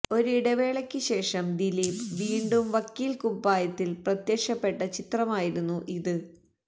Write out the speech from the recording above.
ഒരു ഇടവേളയ്ക്ക് ശേഷം ദീലീപ് വീണ്ടും വക്കീൽ കുപ്പായത്തിൽ പ്രത്യക്ഷപ്പെട്ട ചിത്രമായിരുന്നു ഇത്